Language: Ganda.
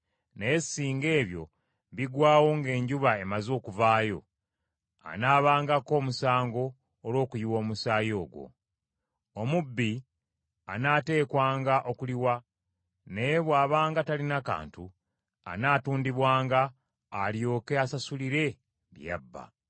naye singa ebyo bigwawo ng’enjuba emaze okuvaayo, anaabangako omusango olw’okuyiwa omusaayi ogwo. Omubbi anaateekwanga okuliwa; naye bw’abanga talina kantu, anaatundibwanga alyoke asasulire bye yabba.